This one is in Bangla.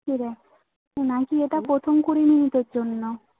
কিরে তোর নাম কি এটা প্রথম জন্য